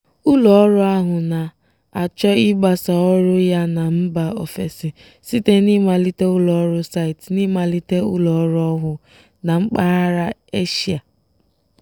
ụlọọrụ ahụ na-achọ ịgbasa ọrụ ya na mba ofesi site n'ịmalite ụlọọrụ site n'ịmalite ụlọọrụ ọhụụ na mpaghara eshia.